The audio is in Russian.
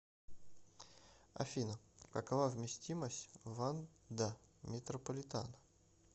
афина какова вместимость ванда метрополитано